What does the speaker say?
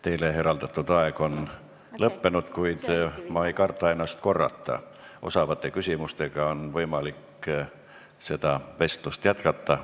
Teile eraldatud aeg on lõppenud, kuid ma ei karda ennast korrata: osavate küsimustega on võimalik seda vestlust jätkata.